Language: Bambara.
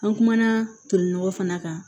An kumana toli nɔgɔ fana kan